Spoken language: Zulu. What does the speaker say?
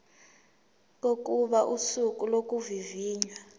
kokuba usuku lokuvivinywa